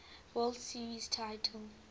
world series titles